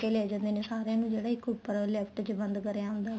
ਲੇ ਜਾਂਦੇ ਨੇ ਸਾਰਿਆ ਨੂੰ ਜਿਹੜਾ ਉੱਪਰ ਇੱਕ lift ਚ ਬੰਦ ਕਰਿਆ ਹੁੰਦਾ